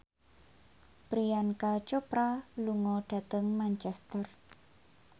Priyanka Chopra lunga dhateng Manchester